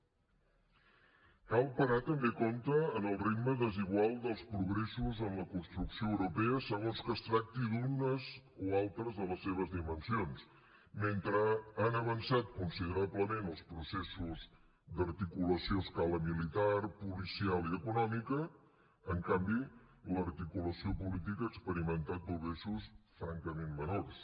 cal parar també atenció al ritme desigual dels progressos en la construcció europea segons que es tracti d’unes o altres de les seves dimensions han avançat considerablement els processos d’articulació a escala militar policial i econòmica en canvi l’articulació política ha experimentat progressos francament menors